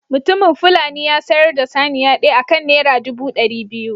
Mutumin fulani ya sayar da saniya ɗaya akan naira ɗubu ɗari biyu.